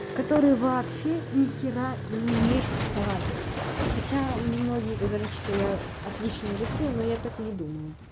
который вообще ни хера не умеет рисовать хотя мне многие говорят что я отлично рисую но я так не думаю